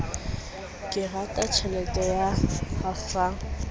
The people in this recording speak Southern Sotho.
ke raditjhelete ya hafang ka